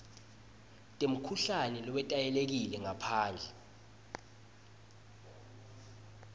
temkhuhlane lowetayelekile ngaphandle